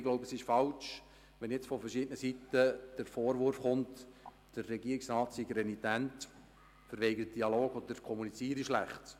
Ich glaube, dass es falsch ist, wenn jetzt von verschiedenen Seiten der Vorwurf kommt, der Regierungsrat sei renitent sei, er verweigere den Dialog oder kommuniziere schlecht.